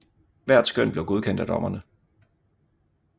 Hvert skøn blev godkendt af dommerne